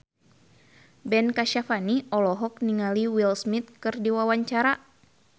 Ben Kasyafani olohok ningali Will Smith keur diwawancara